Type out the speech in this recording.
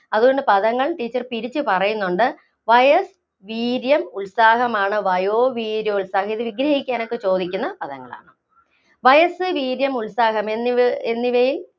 അതുകൊണ്ട് പദങ്ങള്‍ Teacher പിരിച്ചു പറയുന്നുണ്ട്. വയസ്സ്, വീര്യം, ഉത്സാഹമാണ് വയോവീര്യോത്സാഹം ഇത് വിഗ്രഹിക്കാനൊക്കെ ചോദിക്കുന്ന പദങ്ങളാണ്. വയസ്സ്, വീര്യം, ഉത്സാഹം എന്നിവയില്‍